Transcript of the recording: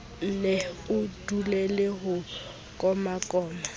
nne o dulele ho komakoma